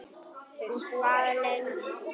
Og hvað lengi?